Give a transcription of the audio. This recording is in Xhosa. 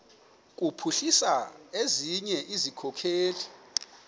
kuphuhlisa ezinye izikhokelo